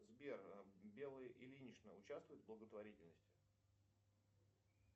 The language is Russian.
сбер белла ильинична участвует в благотворительности